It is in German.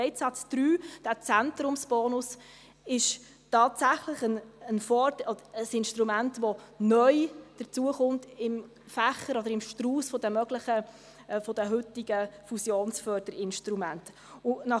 Leitsatz 3 mit dem Zentrumsbonus ist tatsächlich ein Instrument, das im Strauss der heutigen Fusionsförderinstrumente neu hinzukommt.